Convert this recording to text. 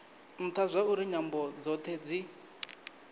ntha zwauri nyambo dzothe dzi